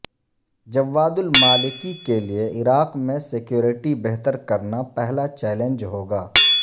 جواد al-Maliki کے لیے عراق میں سکیورٹی بہتر کرنا پہلا چیلنج ہوگا